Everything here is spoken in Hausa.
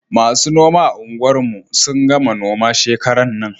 Masu noma a unguwar mu sun gama noma shekaran nan